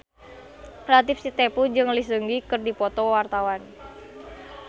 Latief Sitepu jeung Lee Seung Gi keur dipoto ku wartawan